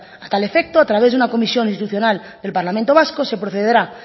a tal efecto a través de una comisión institucional el parlamento vasco se procederá